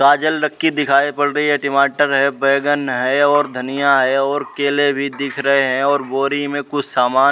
गाजल लक्की दिखाई पड़ रही है। टमाटर भी है बैगन है और धनिया है और केले भी दिख रहे हैं और बोरी मे कुछ समान --